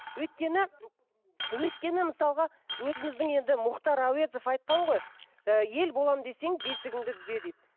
өйткен өйткені мысалға өзіміздің енді мұхтар әуезов айтқан ғой ііі ел боламын десең бесігіңді түзе дейді